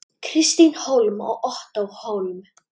Kristín Hólm og Ottó Hólm.